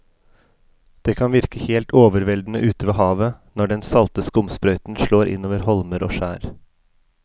Det kan virke helt overveldende ute ved havet når den salte skumsprøyten slår innover holmer og skjær.